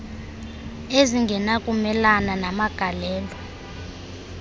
ezingena kumelana namagalelo